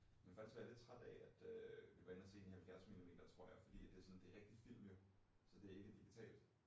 Men har faktisk været lidt træt af at øh vi var inde og se den i 70 millimeter tror jeg fordi at det sådan det rigtig film jo så det ikke digitalt